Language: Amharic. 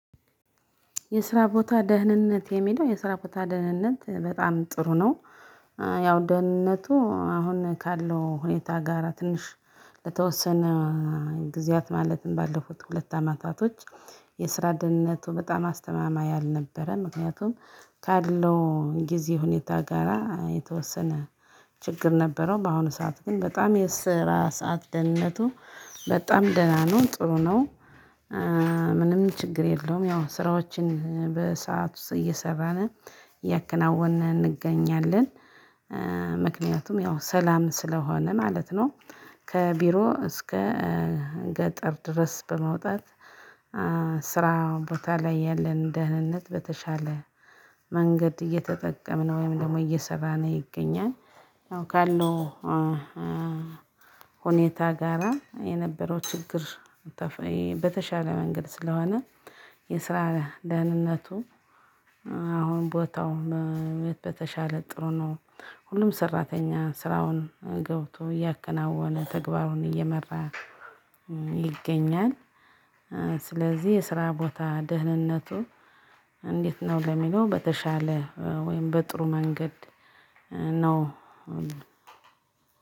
የስራ ቦታ ደህንነት የሚለው የስራ ቦታ ደህንነት በጣም ጥሩ ነው ያው ደህንነቱ አሁን ካለው ሁኔታ ጋራ ትንሽ ለተወሰነ ጊዜያት ማለትም ባለፉት ሁለት አመታቶች የስራ ደህንነቱ በጣም አስተማማኝ አልነበረም። ምክንያቱም ካለው ጊዜ ሁኔታ ጋራ የተወሰነ ችግር ነበረው። በአሁኑ ሰዓት ግን በጣም የስራ ሰዓት ደህንነቱ በጣም ደህና ነው ጥሩ ነው። ምንም ችግር የለውም ያው ስራዎችን በሰአት ውስጥ እየሰራን እያከናወንን እንገኛለን። ምክንያቱም ያው ሰላም ስለሆነ ማለት ነው። ከቢሮ እስከ ገጠር ድረስ በመውጣት ስራ ቦታ ላይ ያለን ደህንነት በተሻለ መንገድ እየተጠቀምን ወይም ደግሞ እየሰራን ይገኛል ካለው ሁኔታ ጋራ የነበረው ችግር በተሻለ መንገድ ስለሆነ የስራ ደህንነቱ አሁን ቦታው በተሻለ ጥሩ ነው ሁሉም ሰራተኛ ስራውን ገብቶ እያከናወነ ተግባሩን እየመራ ይገኛል። ስለዚህ የስራ ቦታ ደህንነቱ እንዴት ነው ለሚለው በተሻለ ወይም በጥሩ መንገድ ነው።